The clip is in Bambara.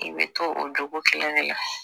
I bɛ to o jogo kelen de la